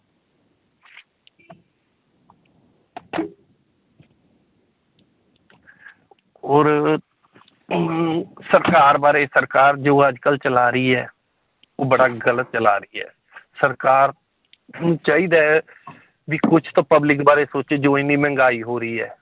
ਹੋਰ ਅਮ ਸਰਕਾਰ ਬਾਰੇ ਸਰਕਾਰ ਜੋ ਅੱਜ ਕੱਲ੍ਹ ਚਲਾ ਰਹੀ ਹੈ, ਉਹ ਬੜਾ ਗ਼ਲਤ ਚਲਾ ਰਹੀ ਹੈ ਸਰਕਾਰ ਨੂੰ ਚਾਹੀਦਾ ਹੈ ਵੀ ਕੁਛ ਤਾਂ public ਬਾਰੇ ਸੋਚੇ ਜੋ ਇੰਨੀ ਮਹਿੰਗਾਈ ਹੋ ਰਹੀ ਹੈ